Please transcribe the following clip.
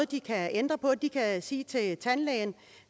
de kan ændre på de kan sige til den tandlæge